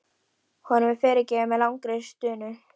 Honum er fyrirgefið með langri stunu.